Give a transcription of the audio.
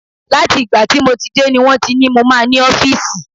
Láti ìgbà tí mo ti dé ni wọ́n ti ní mo máa ní ọ́fíìsì.